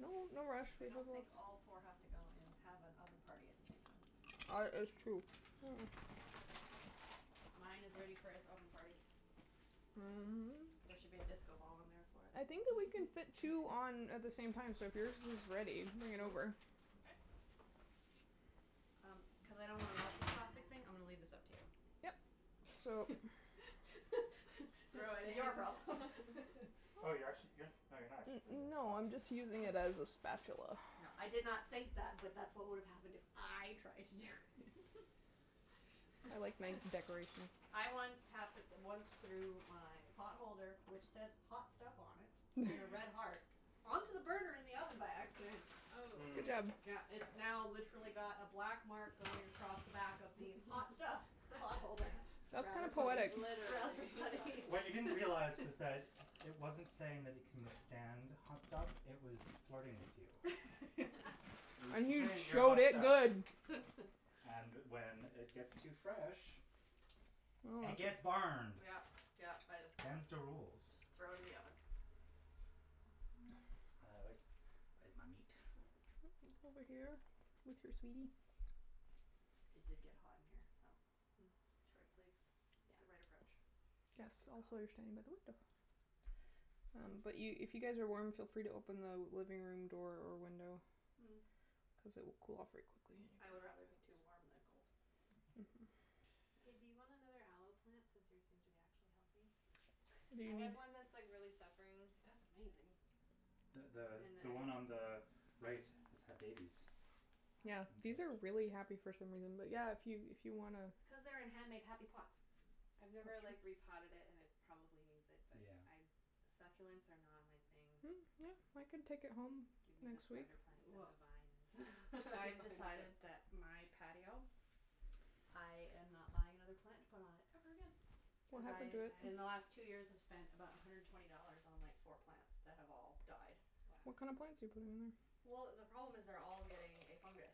No, no rush, we I have don't think lots. all four have to go in and have an oven party at the same time. Ar- it's true. Mine is ready for its oven party. There should be a disco ball in there for it. I think that we can fit two on at the same time, so if yours is ready, bring it over. Okay. Um, cuz I don't wanna melt this plastic thing, I'm gonna leave this up to you. Yep. So Your problem. Oh, you're actu- you're No, you're not actually putting the No, I'm plastic in, just using okay. it as a spatula. No, I did not think that, but that's what would have happened if I tried to do it. I like to make decorations. I once hap- once threw my pot holder, which says "hot stuff" on it in a red heart, onto the burner in the oven by accident. Good Mm. job. Yeah, it's now literally got a black mark going across the back of the "hot stuff" pot holder. That's kind Rather of funny. poetic. Rather Literally. funny. What you didn't realize was that it wasn't saying that it can withstand hot stuff; it was flirting with you. It was And just you saying you're showed hot it stuff. good. And when it gets too fresh, it gets burned. Yeah, yeah, I just Them's the rules. Just throw in the oven. Uh, where's, where's my meat? It's over here with your sweetie. It did get hot in here, so short sleeves, Yeah. the right approach. Yes, Good call. also you're standing by the window. Um, but you, if you guys are warm, feel free to open the living room door or window cuz it will cool off very quickly in Hm, I would here. rather be too warm than cold. Mhm. Hey, do you want another aloe plant since yours seem to be actually healthy? What do I you need? have one that's, like, really suffering. That's amazing. The the And I the one on the right has had babies. Yeah, In Wow. these are fact. really happy for some reason, but yeah, if you, if you wanna Cuz they're in hand made happy pots. I've never, That's true. like, repotted it and it probably needs it. But Yeah. I, succulents are not my thing. Mm, yeah, I can take it home Give me the next week. spider plants and the vines. I've I'm fine with decided it. that my patio, I am not buying another plant to put on it ever again. What happened Because to it? In the they last two die? years I've spent about a hundred and twenty dollars on like four plants that have all died. Wow. What kind of plants are you putting in there? Well, the problem is they're all getting a fungus.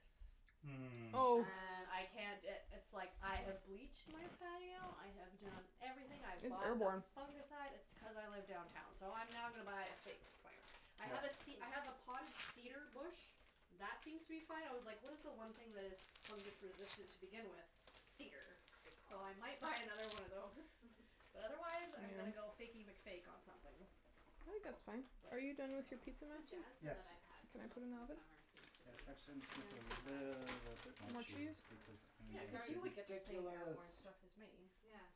Mm. Oh. Oh. And I can't i- it's, like, I have bleached my patio, I have done everything. I have It's bought the airborne. fungicide. It's t- cuz I live downtown, so I'm now gonna buy a fake plant. I Yeah. have a ce- I have a Hm. potted cedar bush that seems to be fine. I was like what is the one thing that is fungus-resistant to begin with? Cedar. Good So call. I might buy another one of those. But otherwise I'm gonna Yeah. go Fakey McFake on something. I think that's fine. Are you done with your pizza, The Matthew? jasmine that Yes. I've had Can I put most in the of the oven? summer seems to be Yes, not actually, so I'm just gonna put a bad, you little know. bit more More cheese? cheese because I'm Yeah, going cuz to be you would get the same ridiculous. airborne stuff as me. Yeah.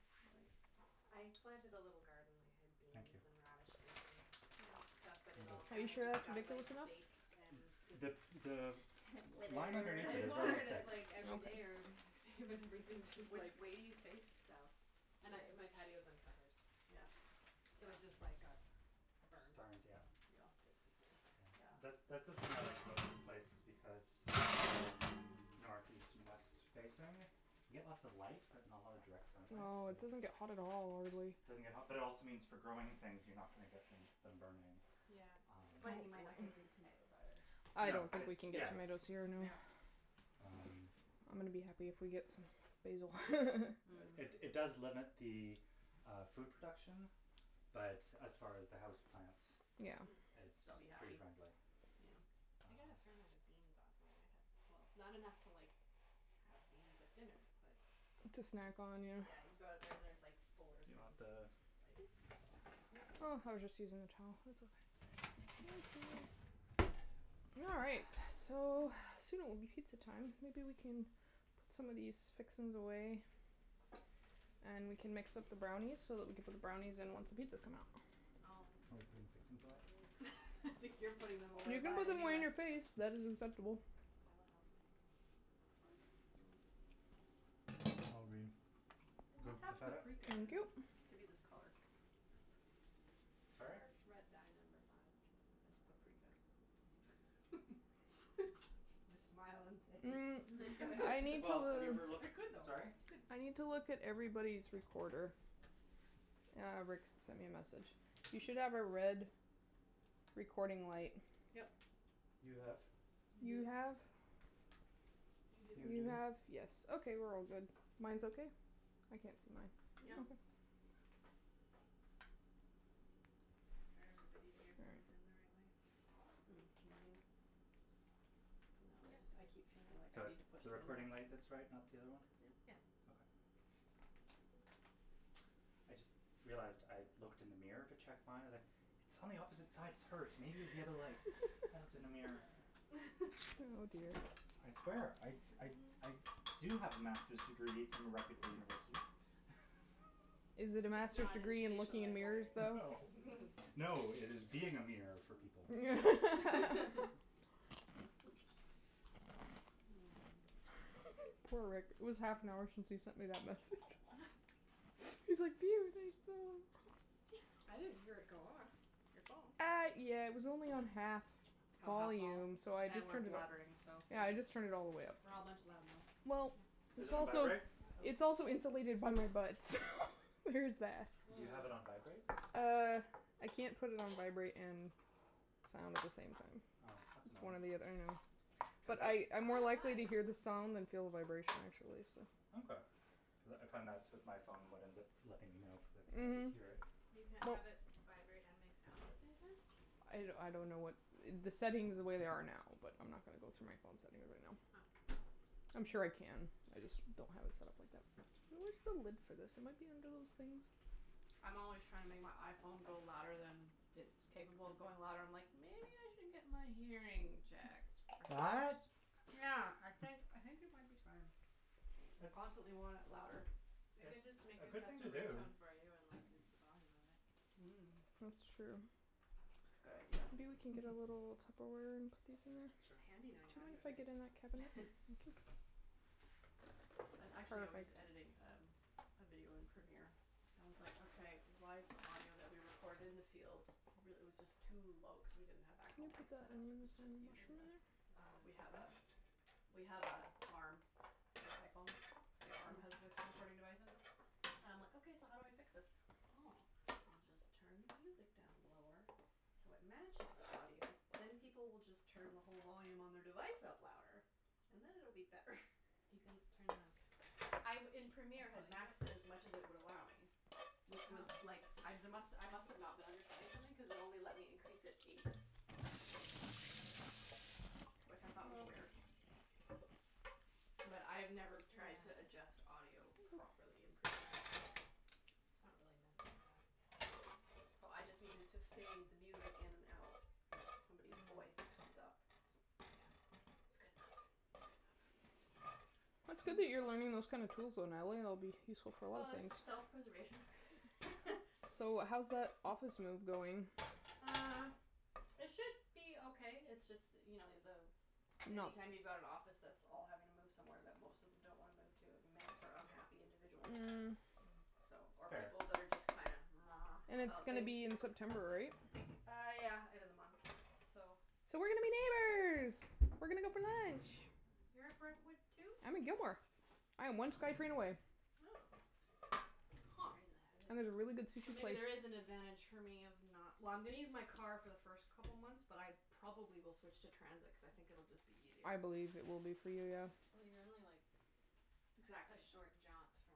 I planted a little garden. I had Thank you. beans and radishes and stuff, but I'm it good. all Are you kinda sure just that's got like ridiculous enough? baked and just The, the line Withered. underneath I it is really watered it, thick. like, every day or Okay. every other day, but everything just, like Which way do you face? South. And I, my patio is uncovered. Yeah. So it just like got Just burned. burned, yeah. Yeah, Yeah. basically. Yeah. That, Yeah. that's the thing I like about this place because it's all north, east and west facing. We get lots of light, but not a lot of direct sunlight, No, so it it doesn't get hot at all, really. doesn't get hot, but it also means for growing things you're not gonna get them them burning. Yeah. Um But you might not get big tomatoes, either. I No, don't think it's, we can get yeah. tomatoes here anyway. Yeah. Yeah. Um I'm gonna be happy if we get some basil. It, it Hm. does limit the uh food production, but as far as the house plants Yeah. Hm. it's They'll be pretty happy. friendly. Yeah. Um I got a fair amount of beans off mine, I had Well, not enough to like have beans at dinner, but To it snack on, was yeah. Yeah, you go out there and there's, like, four Do you green want the beans, just, like, snap them off and eat Oh, them. I was just using the towel, it's okay. All right. So, soon it will be pizza time. Maybe we can put some of these fixings away and we can mix up the brownies so that we can put the brownies in once the pizzas come out. Oh. Oh, we're putting fixings away? I think you're putting them away, You can buy put a them new away in one. your face. That is acceptable. I will help. Are we It good must with the have feta? paprika in Thank you. it to be this color. Sorry? Or Red Dye Number Five. It's paprika. Just smile and say it's Mm, paprika. I need Well, have you ever to looked, It could though. sorry? It's good. I need to look at everybody's recorder. Ah, Rick sent me a message. You should have a red recording light. Yep. You have. You You do? have You You You do. do? have, yes, okay, we're all good. Mine's okay? I can't see mine. Yeah. Okay. Are All everybody's right. earphones in the right way? Mm, mine. No they just I keep feeling like So I need to it's push the them in more. recording light that's right, not the other one? Yeah. Yes. Okay. I just realized I looked in the mirror to check my, like It's on the opposite side, it's hers, maybe it was the other light. I looked in the mirror. Oh dear. I swear I, I, I do have a master's degree from a reputable university. Is it a Just master's not in degree in spacial looking in mirrors, engineering. though? No. No, it is being a mirror for people. Poor Rick. It was half an hour since he sent me that message. He's like, I didn't hear it go off, your phone. Uh, yeah, it was only on half Have half vol? volume, so I And just we're turned it up. blabbering, so Yeah, I just turned it all the way up. We're all a bunch of loud mouths. Yep. Well Is It's it on also vibrate? It's also insulated by my butt, so there is that. Do you have it on vibrate? Mm. Uh, I can't put it on vibrate and sound at the same time. Oh, that's It's one annoying. or the othe- I know. Cuz But that I, I'm more likely to hear the sound than feel the vibration, actually, so Okay. Cuz I found that's with my phone what ends up letting me know because I can't always Mhm. hear it. You can't Well have it vibrate and make sound at the same time? I d- I don't know what, the settings the way they are now, but I'm not gonna go through my phone settings right now. Oh. I'm sure I can, I just don't have it set up like that. Where's the lid for this? It might be under those things. I'm always trying to make my iPhone go louder than it's capable of going loud. I'm like, "Maybe I should get my hearing checked, What? perhaps." Yeah. I think I think it might be time. I It's constantly want it louder. I can It's just make a a good test thing to and ring do. tone for you and like increase the volume of it. That's Mm. true. That's a Maybe we can get good a little idea. Tupperware Sure. It's handy Do you knowing mind if I get in that cabinet? Thank you. I, actually I was Perfect. editing um a video in Premiere and I was like, "Okay, why is the audio that we recorded in the field real- " it was just too low cuz we didn't have Can actual you put mikes the set up, it onions was just and using mushroom the in there? We have a, we have a arm for iPhone, so the arm has the recording device in it and I'm like, "Okay, so how do I fix this?" "Oh, I'll just turn the music down lower so it matches the audio, then people will just turn the whole volume on their device up louder and then it'll be better." You can turn the I b- in Premiere, I had maxed it as much as it would allow me, which was, like, I d- must, I must have not been understanding something cuz it only let me increase it Wow. eight decibels, which I thought was weird. Well. But I've never tried to adjust audio Yeah. properly in Premiere, so It's not really meant for that. No, so I just needed to fade the music in and out and somebody's Mm. voice comes up. Yeah. It's good enough, it's good enough. It's good that you're learning those kind of tools, though, Natalie. It'll be useful for a lot of Well, it's things. self-preservation. So, how's that office move going? Uh, it should be okay. It's just that you know, the, any No. time you've got an office that's all having to move somewhere that most of them don't wanna move to, it makes for unhappy individuals. Mm So, or Fair. people that are just kind And of it's about gonna things. be in September, right? Uh, yeah, end of the month, so So we're gonna be neighbors! We're gonna go for lunch. You're at Brentwood, too? I'm at Gilmore. I am one SkyTrain away. Oh. Huh. And there's a really good So sushi maybe place. there is an advantage for me of not Well, I'm gonna use my car for the first couple months, but I probably will switch to transit cuz I think it'll just be I easier. believe it will be for you, yeah. Well, you're only, like, a Exactly. short jaunt from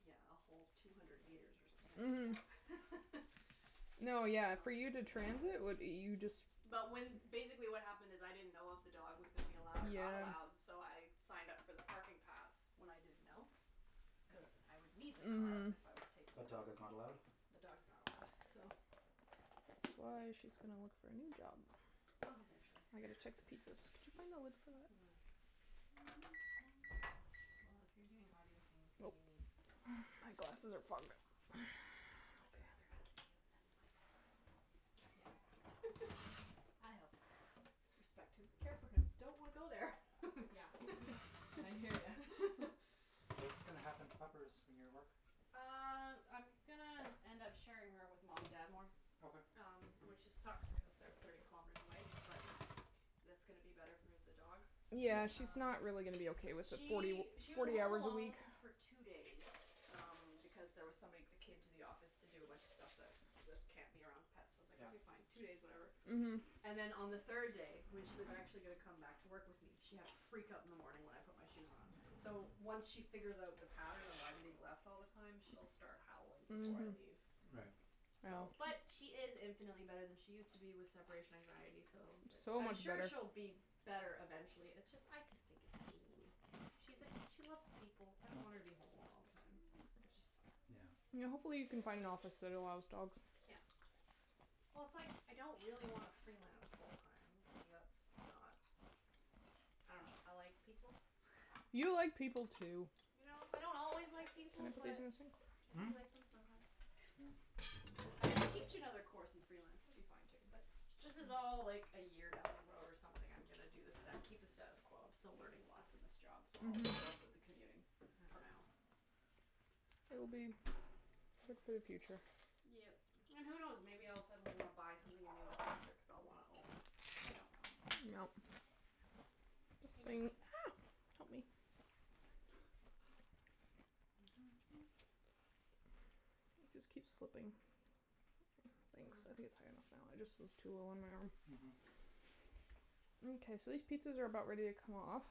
Yeah, a whole two hundred meters or something. Mhm. No, yeah, for you to transit, what, you just But when, basically what happened is, I didn't know if the dog was gonna be allowed or not Yeah. allowed, so I signed up for the parking pass when I didn't know, cuz I would need the car Mhm. if I was taking But the dog. dog is not allowed? The dog's not allowed, so That's why she's gonna look for a new job. Well, eventually. I gotta check the pizzas. Did you find the lid for that? Well, if you're doing audio things and Nope. you need tips, My just glasses are fogged up. I would much rather ask you than my ex. Yeah. I help. Respect him, care for him, don't want to go there. Yeah. And I hear ya. What's gonna happen to Puppers when you're at work? Uh, I'm gonna end up sharing her with mom and dad more. Okay. Um, which it sucks cuz they're thirty kilometers away, but that's gonna be better for the dog. Yeah. Yeah, she's Um, not really gonna be okay with the forty she, w- she was forty home hours a week. alone for two days um because there was somebody that came to the office to do a bunch of stuff that that can't be around pets, so I was like, Yeah. "Okay, fine, two days, whatever." Mhm. And then on the third day, when she was actually gonna come back to work with me, she had a freakout in the morning when I put my shoes on. So, once she figures out the pattern of "I'm being left all the time", she'll start howling before I Mhm. leave. Right. So, Yeah. but she is infinitely better than she used to be with separation anxiety, so It's so I'm much sure better. she'll be better eventually. It's just, I just think it's mean. She's a, she loves people. I don't want her Yeah. to be home alone all the time. That just sucks. Yeah. Yeah, hopefully you can find an office that allows dogs. Yeah. Well, it's, like, I don't really wanna freelance full time cuz that's not, I dunno, I like people. You like people, too. You know? I don't always like Can you people, put these but in the sink? I do Hmm? like them sometimes. Yeah. But if I could teach another course and freelance, that would be fine, too, but this is all like a year down the road or something I'm gonna do the sta- keep the status quo. I'm still learning lots in this job, so I'll Mhm. put up with the commuting for now. It'll be good for the future. Yep. And who knows? Maybe I'll suddenly wanna buy something in New Westminster because I'll wanna own. I don't know. Yep. This I don't thing know. Help me. It just keeps slipping. Thanks, I think it's high enough now. It just was too low on my arm. Mhm. Mkay, so these pizzas are about ready to come off.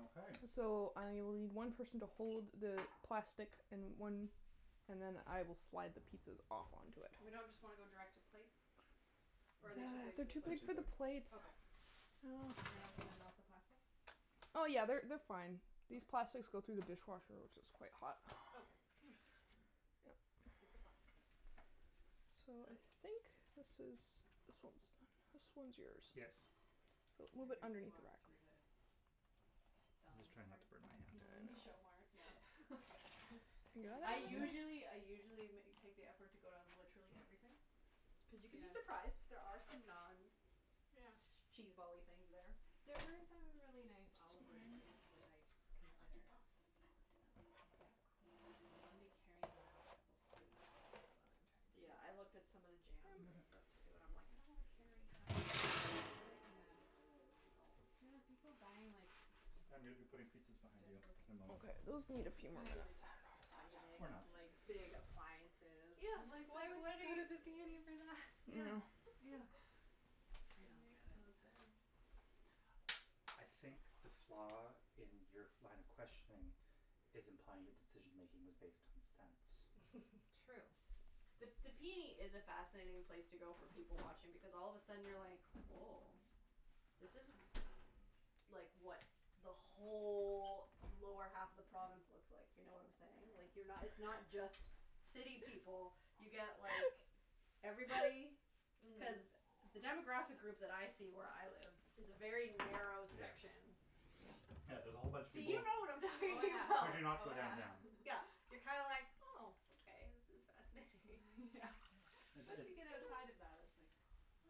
Okay. So I will need one person to hold the plastic and one, and then I will slide the pizzas off onto it. We don't just wanna go direct to plates? Or are they too big for They're the They're too big plates? too for the big. plates. Okay. Oh, crap. They're not gonna melt the plastic? Oh, yeah, they're they're fine. These plastics go through the dishwasher which is quite hot. Okay. Hm. Yep. Super plastic. So, I think this is, this one's done. This one's yours. Yes. So a little I bit briefly underneath the walked rack. through the I'm just selling trying not part to burn my in the hand. p I n know. e. Show mart, yeah. I usually, I usually ma- take the effort to go down to literally everything. Cuz you can be Yeah. surprised. There are some Yeah. non-cheesebally things there. There were some really nice olive wood spoons which I I looked at considered. those, I looked at those. I was Yeah. like, "Cool, but do I wanna be carrying around a couple of spoons all night while I'm trying to take Yeah, I looked at pictures some of the jams and stuff, too, and I'm like, "I don't wanna carry like, Yeah. no." There were people buying like I'm gonna be putting pizzas behind The, you in a okay moment. Okay, those need a few more Buying minutes. like Vitamix, Or not. like big appliances. Yeah, Like, it's why like would what are you go to the p n e for that? you Yeah, Mm. Yeah. yeah. I It don't get makes it. no sense. I think the flaw in your line of questioning is implying the decision-making was based on sense. True. The the p n e is a fascinating place to go for people-watching because all of a sudden you're like, woah, this is, like, what the whole lower half of the province looks like, if you know what I'm saying. Like, you're not, it's not just city people. You get like everybody. Mhm. Cuz the demographic group that I see where I live is a very narrow Yes. section. Yeah. Yeah, there's a whole bunch of So you people know what I'm Oh talking who about. do yeah, not go oh yeah. downtown. Yeah, you're kind of like, oh, okay, this is fascinating. Yeah. Yeah. It, Once you get it outside of that, that's like,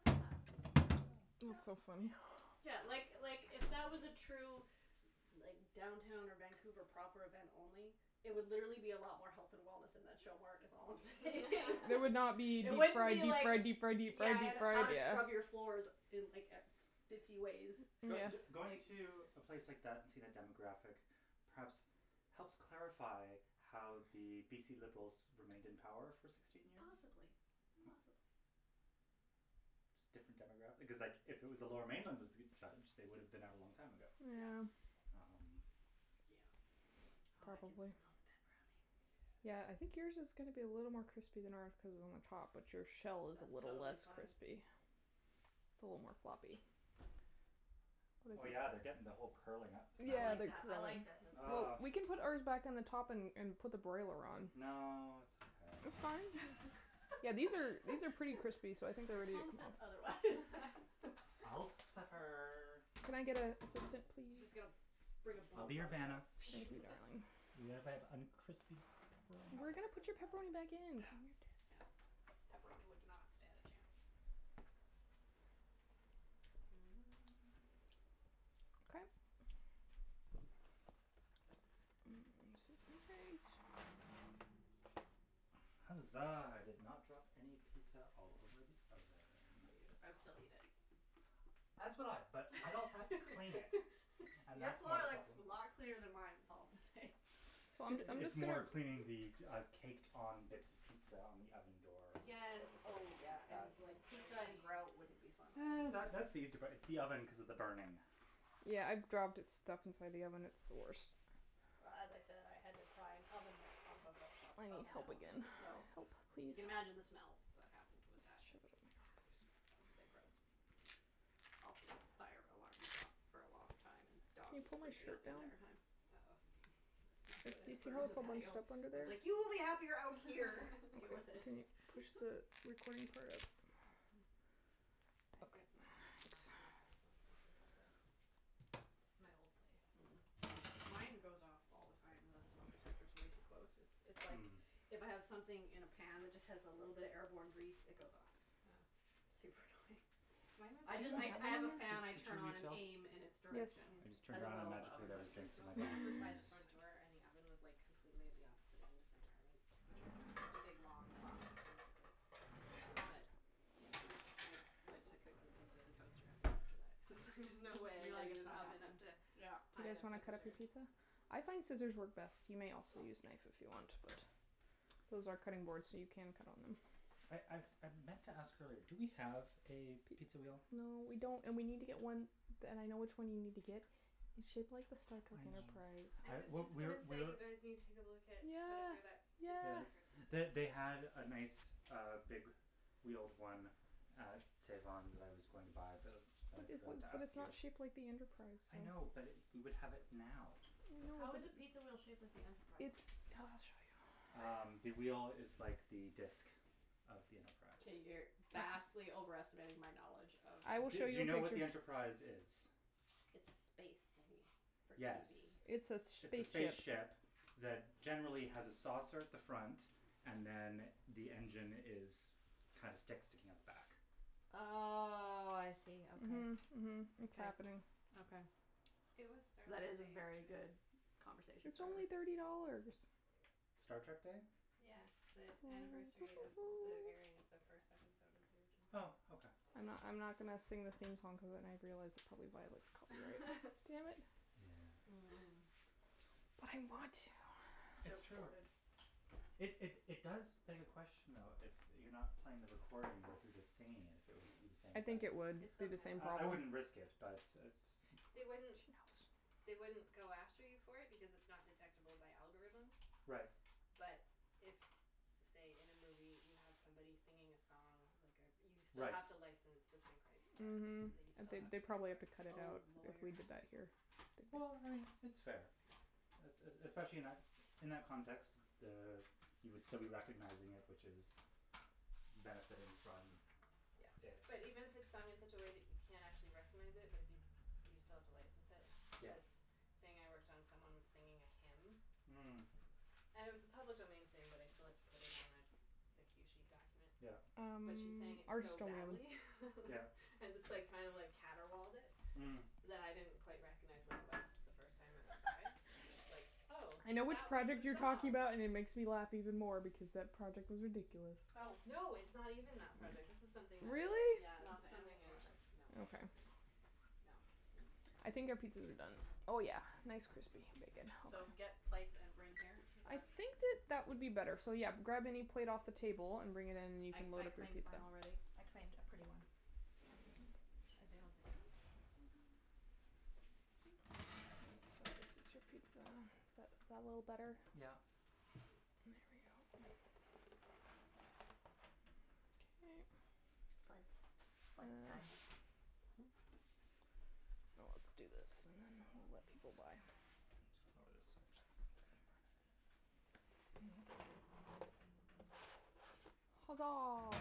huh. Yeah, Yeah. That's so yeah. funny. Yeah, like, like, if that was a true like downtown or Vancouver proper event only, it would literally be a lot more health and wellness in that show mart is all I'm saying. It would not be deep It wouldn't fried, be deep like fried, deep fried, deep Yeah, fried, deep and how fried, to yeah. scrub your floors in like e- fifty ways. Mm yeah. But b- going to a place like that and seeing a demographic perhaps helps clarify how the BC Liberals remained in power for sixteen years. Possibly, possibly. Just different demograph- because, like, if it was the Lower Mainland that was judged, they would have been out a long time ago. Yeah. Um Yeah. Oh, I can smell Probably. the pepperoni. Yeah, I think yours is gonna be a little more crispy than ours cuz we're on the top, but your shell is That's little totally less fine. crispy. It's a little more floppy. Oh, But it yeah, they're getting the whole curling up thing. I Yeah, like they're that, I like curling. that, that's Well, Ugh good. we can put ours back on the top and and put the broiler on. No, it's It's fine. okay. Yeah, these are, these are pretty crispy, so I think they're Your ready to tone come says out. otherwise. I'll suffer. Can I get a assistant, She's just please? gonna bring a I'll be your blowtorch out. Vanna. Thank you, darling. Even if I have uncrispy That would pepperoni. We're probably gonna work put really your well, pepperoni back actually. in, No, calm your yeah, tits. pepperoni would not stand a chance. Okay. Mm, excuse my reach. Huzzah, I did not drop any pizza all over the oven. I'd still eat it. As would I, but I'd also have to clean it and Your that's more floor the looks problem. a lot cleaner than mine is all I'm gonna say. Well, I'm j- I'm It's just gonna more cleaning the, uh, caked on bits of pizza on the oven door Yeah and, that would burn. oh yeah, and, That's like, pizza and grout wouldn't be fun either. That that's the easy part, it's the oven cuz of the burning. Yeah, I've dropped it stuff inside the oven; it's the worst. Well as I said, I had to pry an oven mitt off of a, of I need oven help element, again. so Help, you please. can imagine the smells that happened with that. Let's shove Yeah, that it was a bit gross. Also, the fire alarm went off for a long time and the Can dog you was pull my freaking out shirt the down? entire time. It was not Yes, good. I do had you to see put her how on the it's all bunched patio. up under I was there? like, "You will be happier out here." "Deal with it." Can you push the recording part up? I Up. set the smoke alarm off in my Thanks. place once making pizza. My old place. Mm. Mine goes off all the time. The smoke detector's way too close. It's, it's like Mm. if I have something in a pan that just has a little bit of airborne grease, it goes off. Oh. Super annoying. Mine I was, just like I d- I have a fan I Did did you turn on and refill? aim in its Yes. direction I just turned as around and well as the magically oven there hood. was The drinks in my smoke glass. alarm was by the front door and the oven was, like, completely at the opposite end of my apartment which was, like, just a big long box, basically. But, yeah, I went to cooking pizza in the toaster oven after that cuz it was like, "There's no way You're I'm like getting "It's this not oven happening." up to Yeah. Do you high guys enough wanna cut up temperature" your pizza? I find scissors work best. You may also use knife if you want but those are cutting boards, so you can cut on them. I I I meant to ask earlier, do we have a pizza wheel? No, we don't, and we need to get one, d- and I know which one you need to get. It's shaped like the Star Trek I know. Enterprise. I I, was we, just we're, gonna say we're you guys need to go look at whatever that, Yeah, Think yeah. Yes. Geeks or something. They, they had a nice, uh, big wheeled one at Save On that I was going to buy, but I feel then like I it was, forgot to but ask it's you. not shaped like the Enterprise, so I know, but we would have it now. I know How but is a pizza wheel shaped like the It's Enterprise? Um, the wheel is like the disk of the Enterprise. Okay, you're vastly overestimating my knowledge of I will Do show do you you know what what the you're Enterprise is? It's a space thingy for Yes, TV. It's a s- sh- it's a spaceship. spaceship that generally has a saucer at the front and then the engine is, kinda sticks, sticking out the back. Oh, I see, okay. Mhm, mhm. It's happening. Okay. It was Star That Trek is a Day very yesterday. good conversation It's starter. only thirty dollars. Star Trek Day? Yeah, the anniversary of the airing of the first episode of the original series. Oh, okay. I'm not, I'm not gonna sing the theme song cuz then I've realized it probably violates copyright. Damn it. Yeah. Mm. But I want to. It's Joke true. thwarted. It, it, it does beg a question, though, if you're not playing the recording, but if you're just singing it, if it would be the same I thing. think it would It be still the same counts. I, I problem. wouldn't risk it, but it's They wouldn't, She knows. they wouldn't go after you for it because it's not detectable by algorithms. Right. But if, say, in a movie you have somebody singing a song, like a, you still Right. have to license the sync rights for Mhm, it. That you still they, have they put probably have to the cut it Oh, out if we lawyers. did that here. Well, I mean, it's fair. Es- e- especially in that, in that context, s- the, you would still be recognizing it, which is benefiting from Yeah, it. but even if it's sung in such a way that you can't actually recognize it but if you, you still have to license it, like Yeah. this thing I worked on, someone was singing a hymn. Mm. And it was a public domain thing, but I still had to put it on the the cue sheet document. Yeah. Um, But she sang it ours are so still in the oven. badly. Yeah. And just, like, kind of like caterwauled it Mm. that I didn't quite recognize what it was the first time it went by. I was like, oh, I know which that was project you're the talking song. about and it makes me laugh even more because that project was ridiculous. Oh. No, it's not even that project. This is something that was Really? Yeah, this Not is the animal something I, project? no Okay. No. Oh. Hm. I think our pizzas are done. Oh yeah, nice, crispy, bacon So, get plates and bring here, is I that? think that that would be better. So, yeah, grab any plate off the table and bring it in and you I, can I load up your claimed mine pizza. already. I claimed a pretty one. Are they all different? Oh, they So, are. this is your Very pretty pizza. plates. Is that, is that a little I better? like this Yeah. one. There we go. Okay. Foots. Foots time. Ah Let's do this and then we'll let people by. I need to lower this, actually. Huzzah.